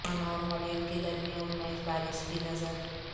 Oman اور Holland کے درمیان میچ بارش کی نذر